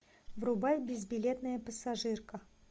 врубай безбилетная пассажирка